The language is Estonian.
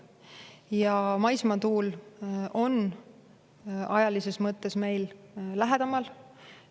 Ja maismaatuule on meil ajalises mõttes lähedamal.